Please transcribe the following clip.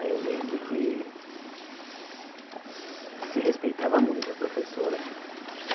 É eu lembro que se respeitava muito a professora.